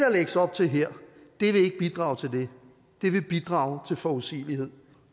lægges op til her vil ikke bidrage til det det vil bidrage til forudsigelighed